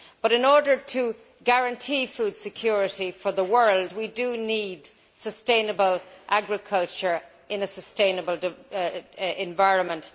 In order to guarantee food security for the world, we need sustainable agriculture in a sustainable environment.